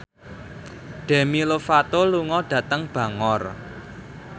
Demi Lovato lunga dhateng Bangor